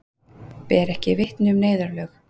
Ber ekki vitni um neyðarlög